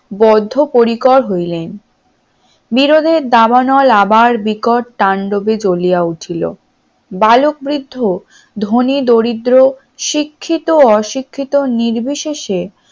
বদ্ধপরিকর হইলেন বিরোধের দাবানল আবার বিকট তান্ডবে জ্বলিয়া উঠিলো বালক বৃদ্ধ ধনী দরিদ্র শিক্ষিত অশিক্ষিত নির্বিশেষে